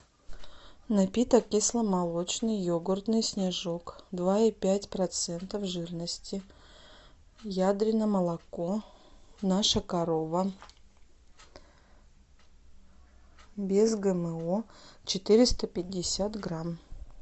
напиток кисломолочный йогуртный снежок два и пять процентов жирности ядрино молоко наша корова без гмо четыреста пятьдесят грамм